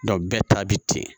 bɛɛ ta bi ten